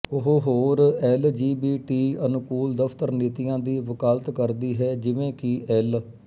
ਉਹ ਹੋਰ L G B ਟੀਅਨੁਕੂਲ ਦਫ਼ਤਰ ਨੀਤੀਆਂ ਦੀ ਵਕਾਲਤ ਕਰਦੀ ਹੈ ਜਿਵੇਂ ਕਿ ਐੱਲ